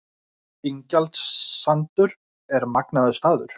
Ingjaldssandur er magnaður staður.